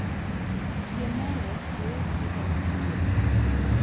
Yie mondo iwe spika mag dwol